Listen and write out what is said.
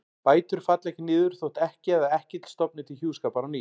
Bætur falla ekki niður þótt ekkja eða ekkill stofni til hjúskapar á ný.